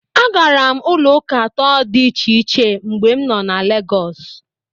Agara m ụlọ ụka atọ dị iche iche mgbe nọ na Legos.